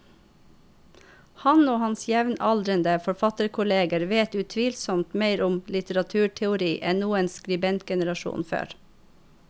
Han og hans jevnaldrende forfatterkolleger vet utvilsomt mer om litteraturteori enn noen skribentgenerasjon før.